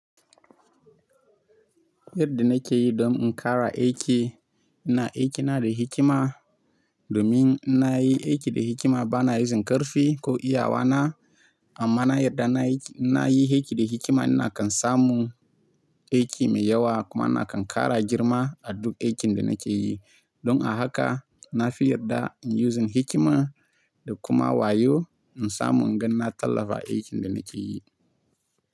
Yadda na ke yi don in ƙara aiki, ina aiki na da hikima domin ina yi aiki da hikima bana using ƙarfi ko iyawa na. Amma na yarda na ina yi aiki da hikima ina kan samu aiki mai yawa kuma ina kan ƙara girma a duk aikin da na ke yi. Don a haka na fi yarda in yi using hikima da kuma wayo in samu inganna tallafa aikin da na ke yi.